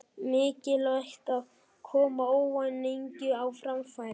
Mikilvægt að koma óánægjunni á framfæri